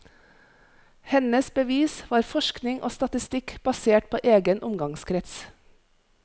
Hennes bevis var forskning og statistikk basert på egen omgangskrets.